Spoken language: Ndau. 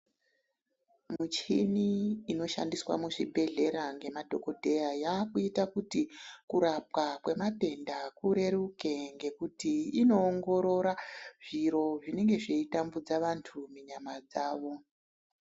Michini inoshandiswa muzvibhedhlera ngemadhogodheya yakuita kuti kurapwa kwematenda kureruke. Ngekuti kunoongorora zviro zvinenge zveitambudza vantu munyama dzavo.